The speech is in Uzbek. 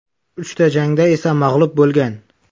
Uchta jangda esa mag‘lub bo‘lgan.